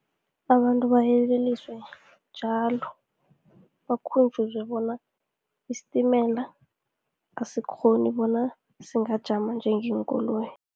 Abantu bayeleliswe njalo, bakhunjuzwe bona isitimela asikghoni bona singajama njengeenkoloyi.